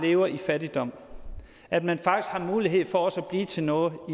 lever i fattigdom at man faktisk har mulighed for også at blive til noget og